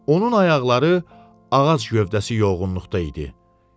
Onun ayaqları ağac gövdəsi yoğunluqda idi.